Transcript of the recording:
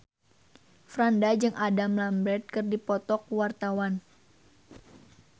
Franda jeung Adam Lambert keur dipoto ku wartawan